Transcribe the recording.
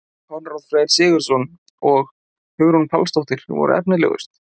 Konráð Freyr Sigurðsson og Hugrún Pálsdóttir voru efnilegust.